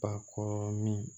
Ba kɔrɔ min